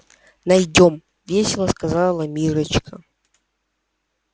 найдём весело сказала миррочка